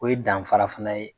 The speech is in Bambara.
O ye danfara fana ye